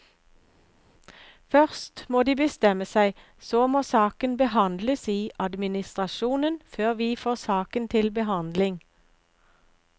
Først må de bestemme seg, så må saken behandles i administrasjonen før vi får saken til behandling.